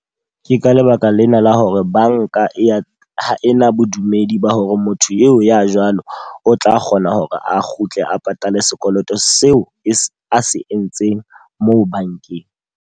Ke ka lebaka lena la hore banka e ya ha e na bodumedi ba hore motho eo ya jwalo o tla kgona hore a kgutle a patale sekoloto seo a se entseng moo bankeng.